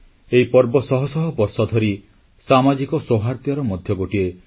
ରକ୍ଷାବନ୍ଧନର ପର୍ବ ଭାଇ ଓ ଭଉଣୀ ମଧ୍ୟରେ ଥିବା ପାରସ୍ପରିକ ସ୍ନେହ ଏବଂ ବିଶ୍ୱାସର ପ୍ରତୀକ ରୂପେ ବିବେଚନା କରାଯାଏ